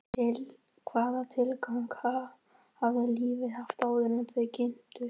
Hvaða tilgang hafði lífið haft áður en þau kynntust?